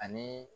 Ani